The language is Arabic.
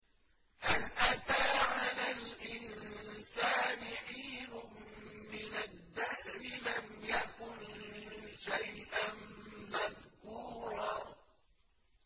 هَلْ أَتَىٰ عَلَى الْإِنسَانِ حِينٌ مِّنَ الدَّهْرِ لَمْ يَكُن شَيْئًا مَّذْكُورًا